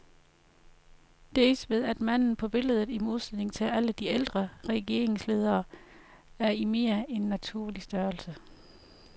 Dels ved at manden på billedet, i modsætning til alle de ældre regeringsledere, er i mere end naturlig størrelse.